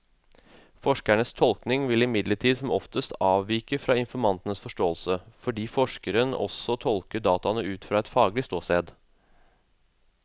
Forskerens tolkning vil imidlertid som oftest avvike fra informantens forståelse, fordi forskeren også tolker dataene ut fra et faglig ståsted.